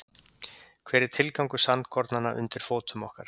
Hver er tilgangur sandkornanna undir fótum okkar?